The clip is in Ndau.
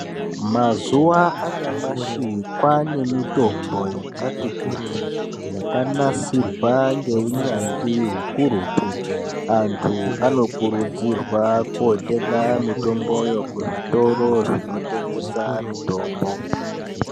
Mazuwa anyamashi kwaane mutombo yakati kuti yakanasirwa ngeunyanzvi ukurutu antu anokurudzirwa kotenga Mitomboyo kuzvitoe zvinotengesa mutombo.